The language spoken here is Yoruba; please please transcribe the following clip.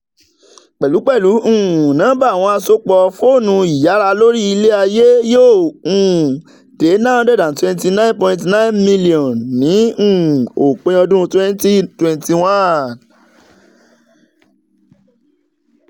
pẹlupẹlu um nọmba awọn asopọ foonuiyara lori ilẹ-aye yoo um de nine hundred twenty nine point nine milionu ni um opin ọdun twenty twenty one.